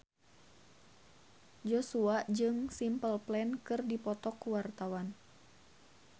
Joshua jeung Simple Plan keur dipoto ku wartawan